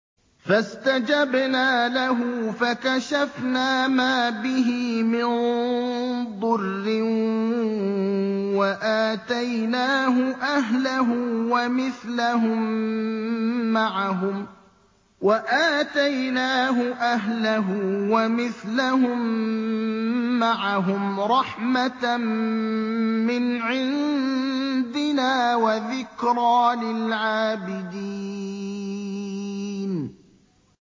فَاسْتَجَبْنَا لَهُ فَكَشَفْنَا مَا بِهِ مِن ضُرٍّ ۖ وَآتَيْنَاهُ أَهْلَهُ وَمِثْلَهُم مَّعَهُمْ رَحْمَةً مِّنْ عِندِنَا وَذِكْرَىٰ لِلْعَابِدِينَ